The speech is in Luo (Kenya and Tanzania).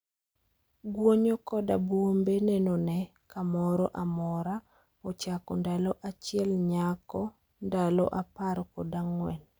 guonyo koda buombe nenone kamoro amora ochako ndalo achiel nyako ndalo apar kod ang'wen